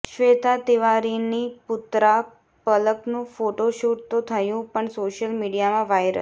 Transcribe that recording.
શ્વેતા તિવારીની પુત્રા પલકનું ફોટોશૂટ તો થયું પણ સોશિયલ મીડિયામાં વાઈરલ